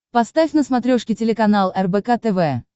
поставь на смотрешке телеканал рбк тв